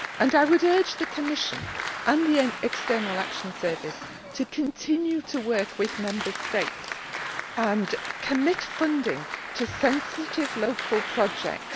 I would urge the Commission and the External Action Service to continue to work with Member States and to commit funding to sensitive local projects.